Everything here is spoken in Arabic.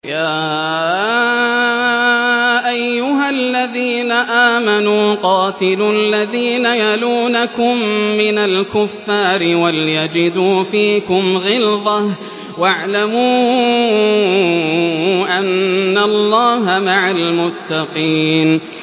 يَا أَيُّهَا الَّذِينَ آمَنُوا قَاتِلُوا الَّذِينَ يَلُونَكُم مِّنَ الْكُفَّارِ وَلْيَجِدُوا فِيكُمْ غِلْظَةً ۚ وَاعْلَمُوا أَنَّ اللَّهَ مَعَ الْمُتَّقِينَ